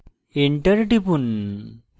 enter টিপুন